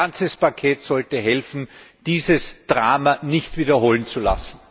Ein ganzes Paket sollte helfen, dieses Drama sich nicht wiederholen zu lassen.